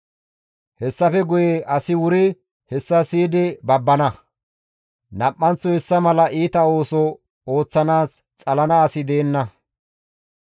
Hessafe guye asi wuri hessa siyidi babbana; nam7anththo hessa mala iita ooso ooththanaas xalana asi deenna.